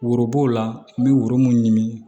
Woro b'o la n bɛ woro mun ɲini